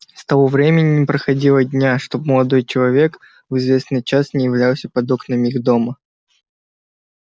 с того времени не проходило дня чтоб молодой человек в известный час не являлся под окнами их дома